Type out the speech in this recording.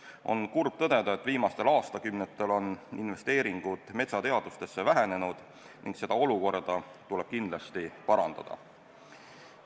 On kurb tõdeda, et viimastel aastakümnetel on investeeringud metsateadustesse vähenenud ning seda olukorda tuleb kindlasti parandada.